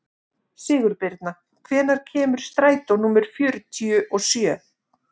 Sigurbirna, hvenær kemur strætó númer fjörutíu og sjö?